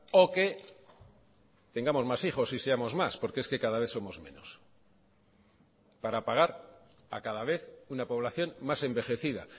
o que tengamos más hijos y seamos más porque es que cada vez somos menos para pagar a cada vez una población más envejecida